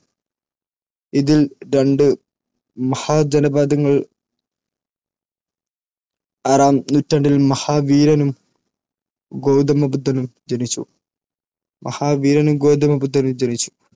ഇതിൽ രണ്ട് മഹാജനപദങ്ങൾ ആറാം നൂറ്റാണ്ടിൽ മഹാവീരനും ഗൗതമ ബുദ്ധനും ജനിച്ചു.